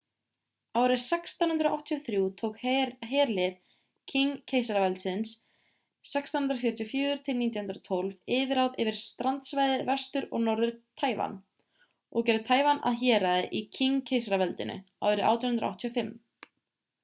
árið 1683 tók herlið qing-keisaraveldisins 1644-1912 yfirráð yfir strandsvæði vestur- og norður-taívan og gerði taívan að héraði í qing-keisaraveldinu árið 1885